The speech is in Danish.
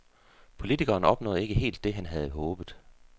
Politikeren opnåede ikke helt det, han havde håbet.